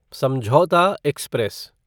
समझौता एक्सप्रेस